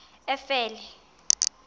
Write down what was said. efele